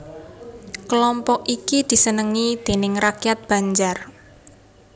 Kelompok iki disenengi déning rakyat Banjar